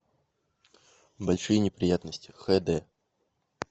большие неприятности хд